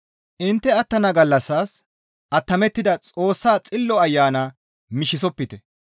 Intte attana gallassas attamettida Xoossaa Xillo Ayana mishisopite.